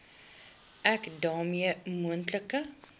ek daarmee moontlike